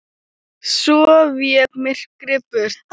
Svo vék myrkrið burt.